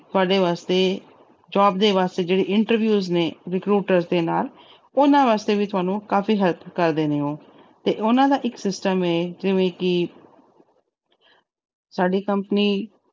ਤੁਹਾਡੇ ਵਾਸਤੇ jobs ਦੇ ਜਿਹੜੇ interviews ਨੇ recruiters ਦੇ ਨਾਲ। ਉਹਨਾਂ ਵਾਸਤੇ ਵੀ ਤੁਹਾਨੂੰ ਕਾਫੀ help ਕਰਦੇ ਨੇ ਉਹ ਤੇ ਉਹਨਾਂ ਦਾ ਇੱਕ system ਆ ਜਿਵੇਂ ਕਿ ਸਾਡੀ company